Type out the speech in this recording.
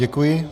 Děkuji.